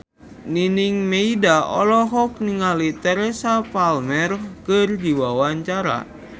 Nining Meida olohok ningali Teresa Palmer keur diwawancara